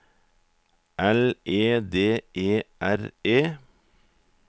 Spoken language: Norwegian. L E D E R E